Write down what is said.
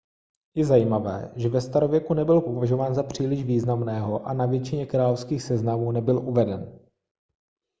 je zajímavé že ve starověku nebyl považován za příliš významného a na většině královských seznamů nebyl uveden